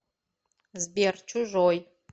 сбер чужой